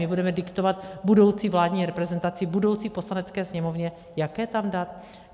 My budeme diktovat budoucí vládní reprezentaci, budoucí Poslanecké sněmovně, jaké tam dát?